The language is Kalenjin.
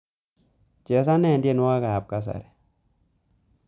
Chesane tyenwogikab kasari